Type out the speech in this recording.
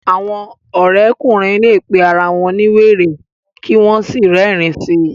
awọn òrékùnrin lẹ pé àrà wón ní wéré kí wón sí rerin sí